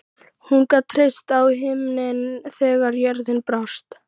Hún gat treyst á himininn þegar jörðin brást.